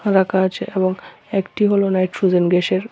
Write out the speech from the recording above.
রাখা আছে এবং একটি হলো নাইট্রোজেন গ্যাসের।